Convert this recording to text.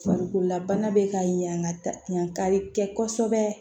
Farikololabana bɛ ka ɲa ka yan kari kɛ kosɛbɛ